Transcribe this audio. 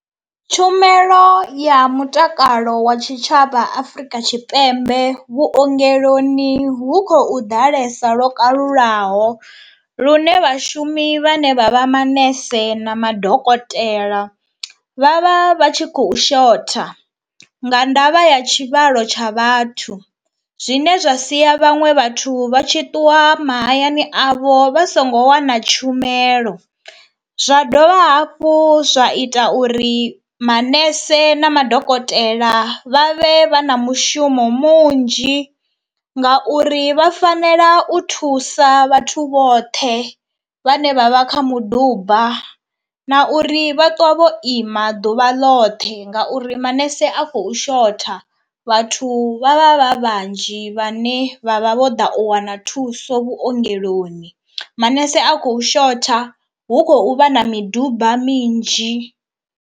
Tshumelo ya mutakalo wa tshitshavha Afrika Tshipembe vhuongeloni hu khou ḓalesa lwo kalulaho lune vhashumi vhane vha vha manese na madokotela vha vha vha tshi khou shotha nga ndavha ya tshivhalo tsha vhathu zwine zwa si ya vhaṅwe vhathu vha tshi ṱuwa mahayani avho vha songo wana tshumelo zwa dovha hafhu zwa ita uri manese na madokotela vha vhe vha na mushumo munzhi ngauri vha fanela u thusa vhathu vhoṱhe vhane vha vha kha muduba na uri vha ṱwa vho ima ḓuvha loṱhe ngauri manese a khou shotha, vhathu vha vha vha vhanzhi vhane vha vha vho ḓa u wana thuso vhuongeloni. Manese a khou shotha, hu khou vha na miduba minzhi.